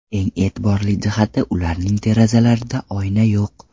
Eng e’tiborli jihati ularning derazalarida oyna yo‘q.